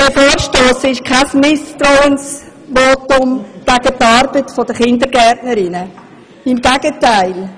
Dieser Vorstoss ist kein Misstrauensvotum gegen die Arbeit der Kindergärtnerinnen, im Gegenteil: